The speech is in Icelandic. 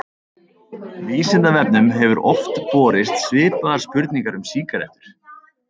Vísindavefnum hefur oft borist svipaðar spurningar um sígarettur.